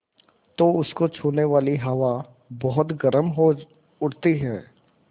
तो उसको छूने वाली हवा बहुत गर्म हो उठती है